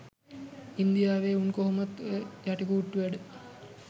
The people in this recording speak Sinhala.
ඉන්දියාවේ උන් කොහොමත් ඔය යටිකූට්ටු වැඩ